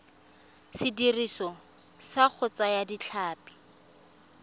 sediriswa sa go thaya ditlhapi